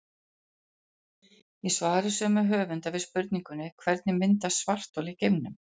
Í svari sömu höfunda við spurningunni Hvernig myndast svarthol í geimnum?